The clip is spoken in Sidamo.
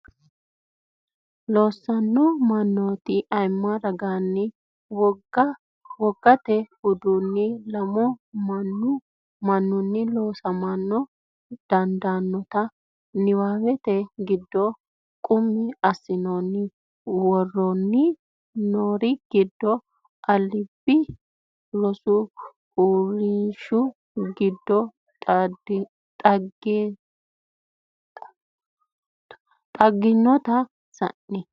Loossanno mannooti ayimma ragaanni wogate uduunni lamu man ninni loosama dandaannota niwaawete giddo qummi assinoonni, Woroonni noori giddo aliidi rosu uurrinshi giddo xaginaatu sayin?